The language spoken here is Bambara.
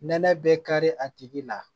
Nɛnɛ bɛ kari a tigi la